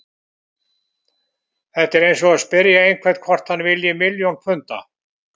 Þetta er eins og að spyrja einhvern hvort hann vilji milljón punda.